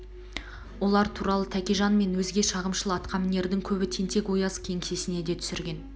олар туралы тәкежан мен өзге шағымшыл атқамнердің көбі тентек-ояз кеңсесіне де түсірген